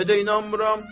Niyə də inanmıram?